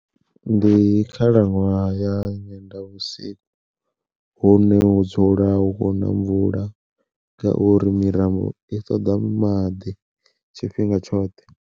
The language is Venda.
Ndi khalaṅwaha ya Nyendavhusiku hune hu dzula hu khou na mvula ngauri mirambo i ṱoḓa maḓi tshifhinga tshoṱhe.